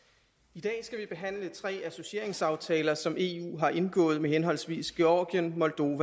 i dag skal vi behandle tre associeringsaftaler som eu har indgået med henholdsvis georgien